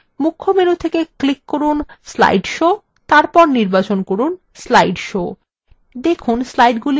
মুখ্য menu থেকে click from slide show এবং নির্বাচন from slide show